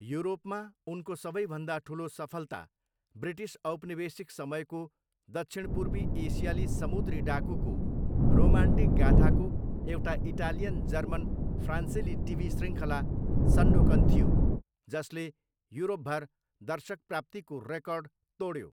युरोपमा, उनको सबैभन्दा ठुलो सफलता ब्रिटिस औपनिवेशिक समयको दक्षिणपूर्वी एसियाली समुद्री डाकुको रोमान्टिक गाथाको एउटा इटालियन जर्मन फ्रान्सेली टिभी शृङ्खला सन्डोकन थियो जसले युरोपभर दर्शकप्राप्तिको रेकर्ड तोड्यो।